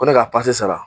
Ko ne ka sara